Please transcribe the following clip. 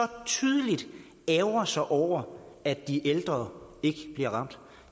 tydeligt ærgrer sig over at de ældre ikke bliver ramt